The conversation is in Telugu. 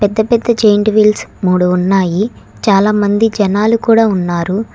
పెద్ద పెద్ద జెయింట్ వీల్స్ మూడు ఉన్నాయి చాలామంది జనాలు కూడా ఉన్నారు.